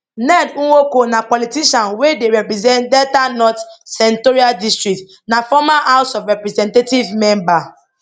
ned nwoko na politician wey dey represent delta north senatorial district na former house of representatives member